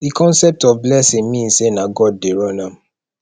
the concept of blessing mean say na god de run am